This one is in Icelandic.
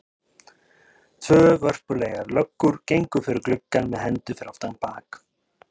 Tvær vörpulegar löggur gengu fyrir gluggann með hendur fyrir aftan bak.